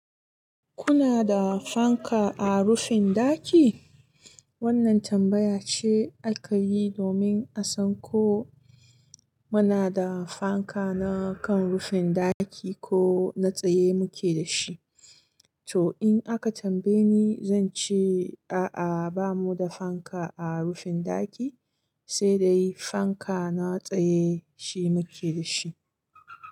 Kuna da fanka a rufin ɗaki? Wannan tambaya ce aka yi domin a san ko muna da fanka na kan rufin ɗaki ko na tsaye muke da shi. To in aka tambaye ni, zan ce a'a ba mu da fanka a rufin ɗaki, sai dai fanka na tsaye shi muke da shi.